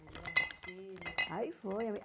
Aí levava os seus filhos... Aí foi.